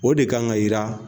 O de kan ka yira